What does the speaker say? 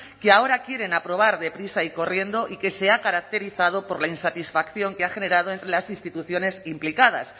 que ahora quieren aprobar deprisa y corriendo y que se ha caracterizado por la insatisfacción que ha generado entre las instituciones implicadas